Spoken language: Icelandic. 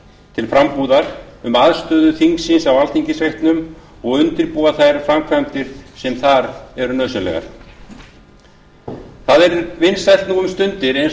til frambúðar um aðstöðu þingsins á alþingisreitnum og undirbúa þær framkvæmdir sem þar eru nauðsynlegar það er vinsælt nú um stundir eins og